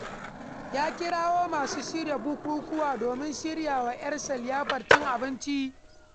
Ya kirawo masu shirya bukukuwa domin shirya wa ‘yarsa liyafar cin abinci